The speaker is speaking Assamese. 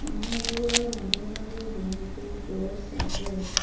মানুহ বোৰৰ মাজে মাজে বহুতো গছ আছে।